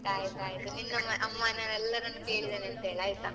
ಆಯ್ತಾಯ್ತು ನಿನ್ನ ಅಮ್ಮನ ಎಲ್ಲರನ್ನೂ ಕೇಳಿದ್ದೇನೆ ಅಂತ ಹೇಳ್ ಆಯ್ತಾ?